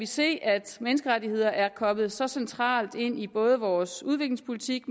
se at menneskerettigheder er kommet så centralt ind i både vores udviklingspolitik